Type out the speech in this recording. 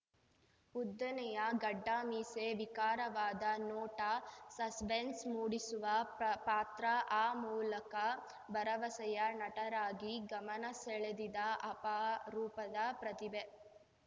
ಉದ್ದನೆಯ ಗಡ್ಡಮೀಸೆ ವಿಕಾರವಾದ ನೋಟ ಸಸ್ಪೆನ್ಸ್‌ ಮೂಡಿಸುವ ಪ್ರ ಪಾತ್ರಆ ಮೂಲಕ ಭರವಸೆಯ ನಟರಾಗಿ ಗಮನ ಸೆಳೆದಿದ್ದ ಅಪಾರೂಪದ ಪ್ರತಿಭೆ